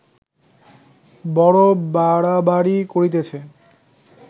বড় বাড়াবাড়ি করিতেছে